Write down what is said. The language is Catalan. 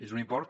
és un import